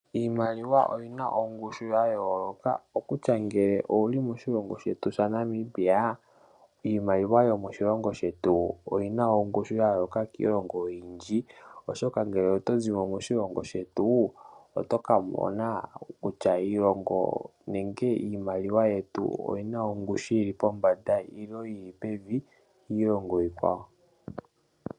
Iimaliwa oyina ongushu yayoloka, okutya ngele owuli moshilongo shetu shaNamibia, iimaliwa yomoshilongo shetu oyina ongushu yayoloka kiilongo oyindji, oshoka ngele oto zimo moshilongo shetu oto kamona kutya iilongo nenge iimaliwa yetu oyina ongushu yili pombanda ilo yili pevi kiilongo ikwawo.